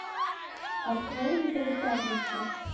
открой на тв пятница